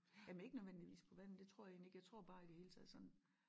Jamen ikke nødvendigvis på vandet det tror jeg egentlig ikke jeg tror bare i det hele taget sådan